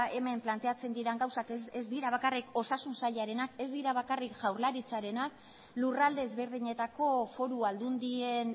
hemen planteatzen diren gauzak ez dira bakarrik osasun sailarenak ez dira bakarrik jaurlaritzarenak lurralde ezberdinetako foru aldundien